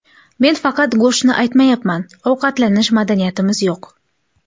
Men faqat go‘shtni aytmayapman, ovqatlanish madaniyatimiz yo‘q”.